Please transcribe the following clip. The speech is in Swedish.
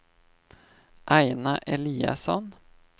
Aina Eliasson